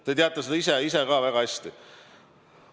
Te teate seda väga hästi.